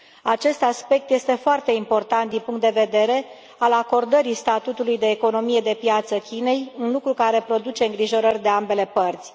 Acest aspect este foarte important din punctul de vedere al acordării statutului de economie de piață Chinei, un lucru care produce îngrijorări de ambele părți.